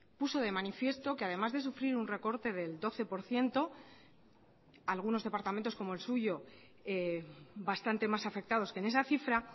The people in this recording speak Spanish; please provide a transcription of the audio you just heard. puso de manifiesto que además de sufrir un recorte del doce por ciento algunos departamentos como el suyo bastante más afectados que en esa cifra